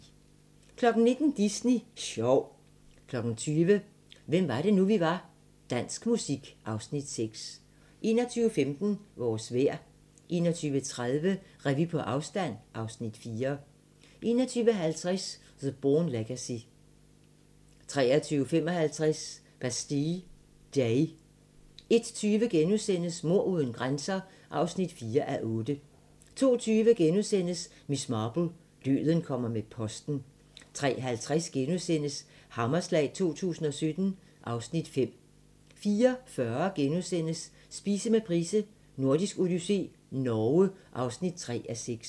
19:00: Disney sjov 20:00: Hvem var det nu, vi var - Dansk musik (Afs. 6) 21:15: Vores vejr 21:30: Revy på afstand (Afs. 4) 21:50: The Bourne Legacy 23:55: Bastille Day 01:20: Mord uden grænser (4:8)* 02:20: Miss Marple: Døden kommer med posten * 03:50: Hammerslag 2017 (Afs. 5)* 04:40: Spise med Price: Nordisk odyssé - Norge (3:6)*